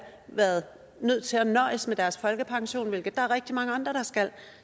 været nødt til at nøjes med deres folkepension hvilket der er rigtig mange andre der skal